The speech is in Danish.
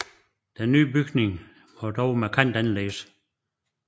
Den nye bygning var dog markant anderledes